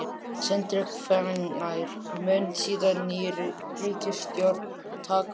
Sindri: Hvenær mun síðan ný ríkisstjórn taka við?